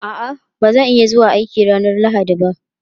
A'a, ba zan iya zuwa aiki ranar Lahadi ba.